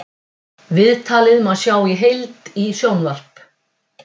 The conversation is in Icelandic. Viðtalið má sjá í heild í sjónvarp